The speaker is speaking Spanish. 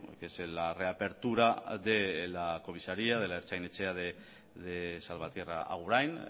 que es la reapertura de la comisaría de la ertzain etxea de salvatierra agurain